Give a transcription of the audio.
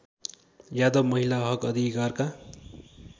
यादव महिला हकअधिकारका